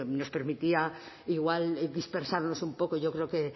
nos permitía igual dispersarnos un poco yo creo que